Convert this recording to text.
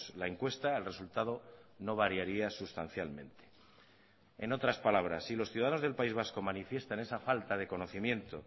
la encuesta el resultado no variaría sustancialmente en otras palabras si los ciudadanos del país vasco manifiestan esa falta de conocimiento